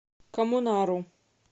коммунару